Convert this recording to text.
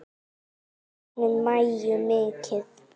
Við söknum Maju mikið.